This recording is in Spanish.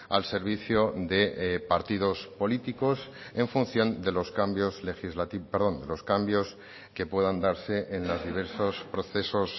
al servicio de partidos políticos en función de los cambios legislativos perdón de los cambios que puedan darse en los diversos procesos